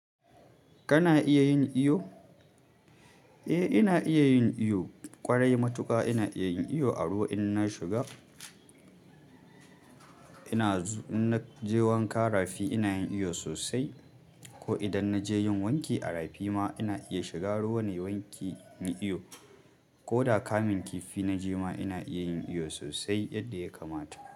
Kana iya yin iyo? Eh, ina iya yin iyo. Ƙwarai matuƙa ina iya yin iyo, a ruwa in na shiga. Ina zu-- in na je wanka rafi ina yin iyo sosai. Ko idan na je yin wanki a rafi ma ina iya shiga ruwa na yi wanki, in yi iyo. Ko da kamun kifi naje ma ina iya yin iyo sosai, yadda ya kamata.